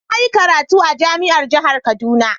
Na yi karatu a jami'ar jihar kaduna..